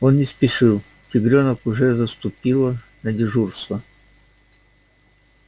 он не спешил тигрёнок уже заступила на дежурство